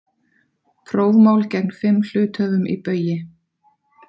Prófmál gegn fimm hluthöfum í Baugi